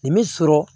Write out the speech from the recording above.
Nin bi sɔrɔ